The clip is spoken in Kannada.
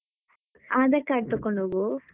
Aadhar Card ತಗೊಂಡು ಹೋಗು.